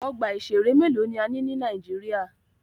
Ọgbà ìṣẹ̀rẹ́ mélòó ni a ní ní Nàíjíríà.